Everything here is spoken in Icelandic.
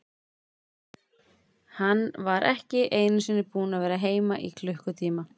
Hann var ekki einu sinni búinn að vera heima í klukkutíma.